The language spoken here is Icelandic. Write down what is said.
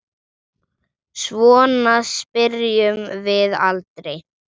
Svona spyrjum við aldrei.